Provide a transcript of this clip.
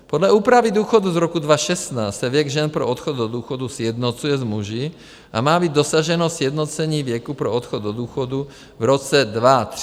Podle úpravy důchodů z roku 2016 se věk žen pro odchod do důchodu sjednocuje s muži a má být dosaženo sjednocení věku pro odchod do důchodu v roce 2030 na 65 let.